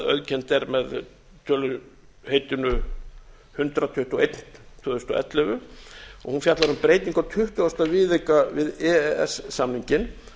auðkennd er með töluheitinu hundrað tuttugu og eitt tvö þúsund og ellefu hún fjallar um breytingu á tuttugasta viðauka við e e s samninginn